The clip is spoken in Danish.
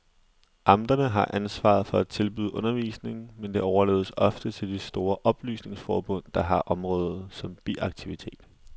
Amterne har ansvaret for at tilbyde undervisning, men det overlades ofte til de store oplysningsforbund, der har området som biaktivitet.